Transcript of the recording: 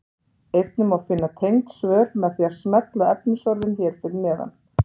Einnig má finna tengd svör með því að smella á efnisorðin hér fyrir neðan.